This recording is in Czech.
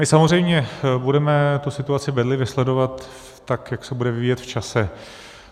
My samozřejmě budeme tu situaci bedlivě sledovat, tak jak se bude vyvíjet v čase.